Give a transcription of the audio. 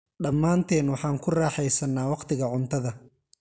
Dhammaanteen waxaan ku raaxaysannaa wakhtiga cuntada.